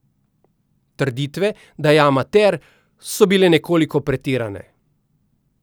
Trditve, da je amater, so bile nekoliko pretirane.